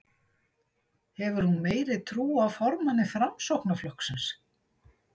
Hefur hún meiri trú á formanni Framsóknarflokksins?